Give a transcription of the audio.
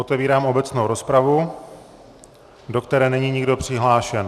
Otevírám obecnou rozpravu, do které není nikdo přihlášen.